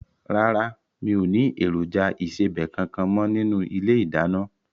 Rárá, mi ò ní èròjà ìsebẹ̀ kankan mo nínú ilé ìdáná.